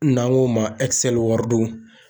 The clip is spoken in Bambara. N'an k'o ma